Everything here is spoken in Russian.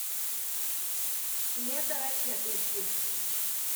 лето ракет ищи